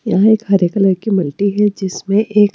यहां एक हरे कलर की मंटी है जिसमें एक--